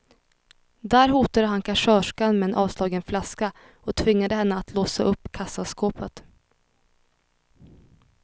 Där hotade han kassörskan med en avslagen flaska och tvingade henne att låsa upp kassaskåpet.